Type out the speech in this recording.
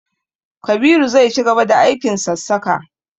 Kabiru zai cigaba da aikin sassaka.